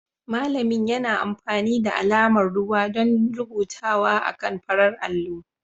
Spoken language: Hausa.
Malamin yana amfani da alamar ruwa don rubutawa akan farar allo